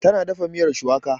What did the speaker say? Ta na dafa miyar shuwaka.